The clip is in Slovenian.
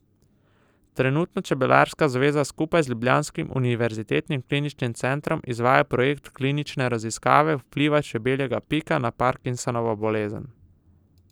Trenutno čebelarska zveza skupaj z ljubljanskim univerzitetnim kliničnim centrom izvaja projekt klinične raziskave vpliva čebeljega pika na Parkinsonovo bolezen.